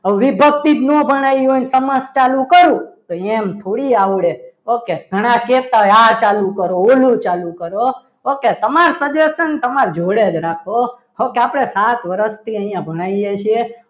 હવે વિભક્તિ જ ના ભણાવી હોય ને સમાસ ચાલુ કરો તો એમ થોડી આવડે ઓકે ઘણા કહેતા હોય કે આ ચાલુ કરો ઓલું ચાલુ કરો ઓકે તમારી suggestion તમારી જોડે જ રાખો okay આપણે સાત વર્ષથી અહીંયા ભણાવીએ છીએ.